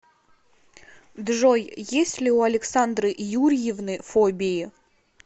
джой есть ли у александры юрьевны фобии